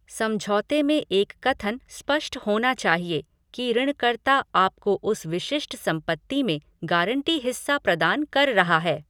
समझौते में एक कथन स्पष्ट होना चाहिए कि ऋण कर्ता आपको उस विशिष्ट संपत्ति में गारंटी हिस्सा प्रदान कर रहा है।